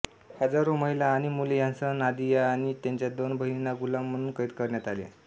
हजारो महिला आणि मुले ह्यांसह नादिया आणि त्यांच्या दोन बहिणींना गुलाम म्हणून कैद करण्यात आले